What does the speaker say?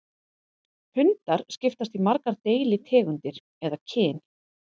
hundar skiptast í margar deilitegundir eða kyn